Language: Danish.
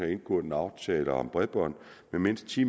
indgået en aftale om bredbånd med mindst ti